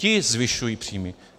Ti zvyšují příjmy.